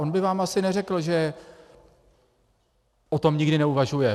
On by vám asi neřekl, že o tom nikdy neuvažuje.